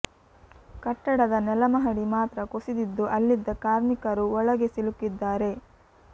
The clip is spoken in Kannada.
ಕಟ್ಟಡದ ನೆಲ ಮಹಡಿ ಮಾತ್ರ ಕುಸಿದಿದ್ದು ಅಲ್ಲಿದ್ದ ಕಾರ್ಮಿಕರು ವೊಳಗೆ ಸಿಲುಕಿದ್ದಾರೆ